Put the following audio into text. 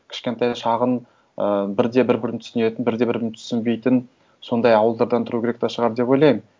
кішкентай шағын ы бірде бір бірін түсінетін бірде бірін түсінбейтін сондай ауылдардан тұру керек та шығар деп ойлаймын